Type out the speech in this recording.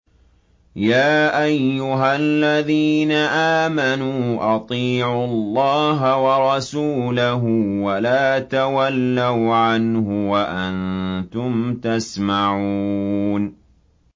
يَا أَيُّهَا الَّذِينَ آمَنُوا أَطِيعُوا اللَّهَ وَرَسُولَهُ وَلَا تَوَلَّوْا عَنْهُ وَأَنتُمْ تَسْمَعُونَ